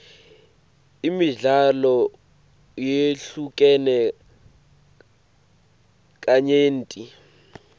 imidlalo yehlukene kanyenti